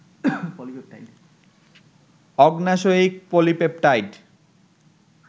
অগ্ন্যাশয়িক polypeptide